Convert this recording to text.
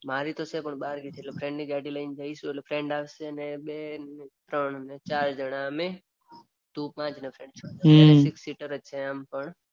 મારી તો છે પણ નાની છે ફ્રેન્ડ ની ગાડી લઈને જાઈસુ તો ફ્રેન્ડ આવસે ને બે ને ત્રણ ચાર જણા અમે તુ પાંચ ફ્રેન્ડ છે તો એ સિક્સ સીટર છે આમ પણ.